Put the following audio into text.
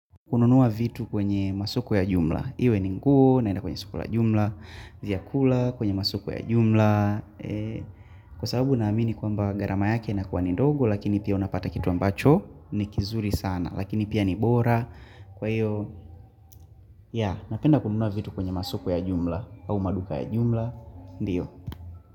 Kununua vitu kwenye masoko ya jumla, iwe ni nguo naenda kwenye masoko ya jumla, ziakula kwenye masoko ya jumla, kwa sababu na amini kwa mba garama yake na kwa ni dogo lakini pia unapata kitu ambacho ni kizuri sana lakini pia ni bora kwa iyo, ya napenda kununua vitu kwenye masoko ya jumla au maduka ya jumla, ndiyo.